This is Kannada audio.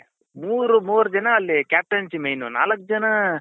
ಮೂರು ಮೂರು ಜನ ಅಲ್ಲಿ captaincy main ನಾಲಕ್ ಜನ